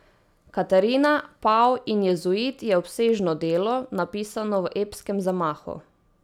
Katarina, pav in jezuit je obsežno delo, napisano v epskem zamahu.